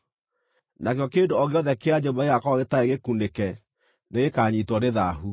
nakĩo kĩndũ o gĩothe kĩa nyũmba gĩgaakorwo gĩtarĩ gĩkunĩke nĩgĩkanyiitwo nĩ thaahu.